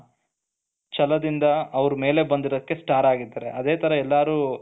ಛಲದಿಂದ ಅವರು ಮೇಲೆ ಬಂದಿರೋದಕ್ಕೆ ಸ್ಟಾರ್ ಆಗಿದ್ದಾರೆ ಅದೇ ತರ ಎಲ್ಲರೂ